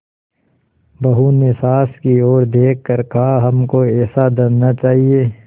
बहू ने सास की ओर देख कर कहाहमको ऐसा धन न चाहिए